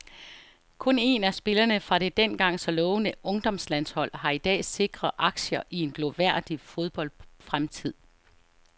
Kun en af spillerne fra det dengang så lovende ungdomslandshold har i dag sikre aktier i en glorværdig fodboldfremtid.